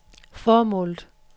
formålet